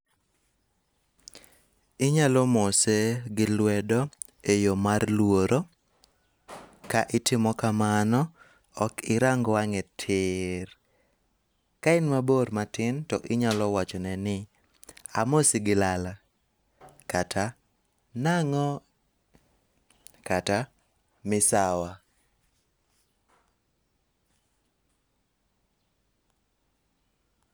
Inyalo mose gi lwedo e yo mar luoro ka itimo kamano ok irang wange tir. Ka en mabor matin to inyalo wachone ni amosi gi lala. Kata nang'o. Kata misawa.